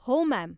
हो, मॅम.